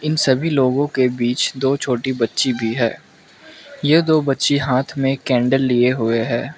सभी लोगों के बीच दो छोटी बच्ची भी है ये दो बच्ची हाथ में कैंडल लिए हुए हैं।